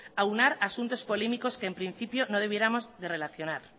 aunar asuntos polémicos que en principio no deberíamos de relacionar